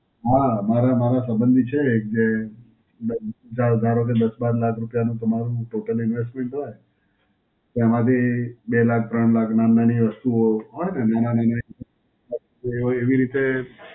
હાં, મારા મારા સંબંધી છે એક જે મતલબ ધારો ધારો કે દસ બાર લાખ રૂપયાનું તમારું Total Investment હોય, તો એમાંથી બે લાખ, ત્રણ લાખ, નાન નાની વસ્તુઓ હોય ને, એ હોય એવી રીતે